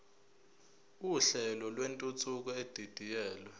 uhlelo lwentuthuko edidiyelwe